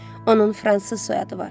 Onun fransız soyadı var.